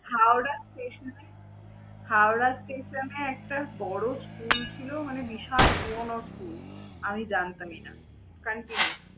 Howrah station এ Howrah station এ একটা বড় school ছিল, মানে বিশাল পুরনো school আমি জানতামই না। Continue